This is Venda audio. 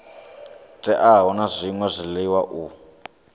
teaho na zwṅwe zwiḽiwa u